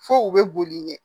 Fo u bɛ boli ɲɛ